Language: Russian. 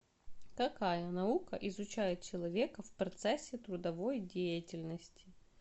какая наука изучает человека в процессе трудовой деятельности